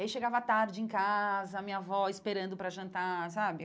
E aí chegava tarde em casa, a minha avó esperando para jantar, sabe?